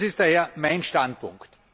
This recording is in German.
Was ist daher mein Standpunkt?